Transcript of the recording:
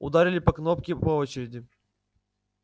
ударили по кнопке по очереди